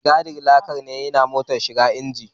Mai gadin laka ne ya hana motar shiga injin